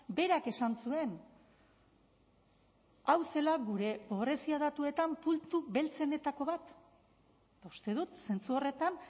berak esan zuen hau zela gure pobrezia datuetan puntu beltzenetako bat uste dut zentzu horretan